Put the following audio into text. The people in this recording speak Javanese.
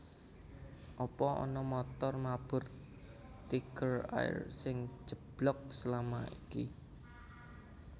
Apa ana montor mabur Tiger Air sing ceblok selama iki